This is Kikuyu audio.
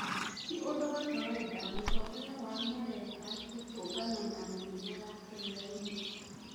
Ti ũndo wa kawaida mũtongoria wa mareka gũtũngana na munene wa kĩrĩainĩ